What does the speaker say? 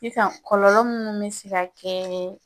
Sisan kɔlɔlɔ minnu bɛ se ka kɛ